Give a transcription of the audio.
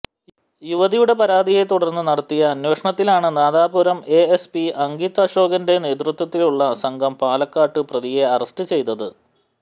യുവതിയുടെ പരാതിയെ തുടർന്ന് നടത്തിയ അന്വേഷണത്തിലാണ് നാദാപുരം എഎസ്പി അങ്കിത് അശോകന്റെ നേതൃത്വത്തിലുള്ള സംഘം പാലക്കാട്ട് പ്രതിയെ അറസ്റ്റ് ചെയ്തത്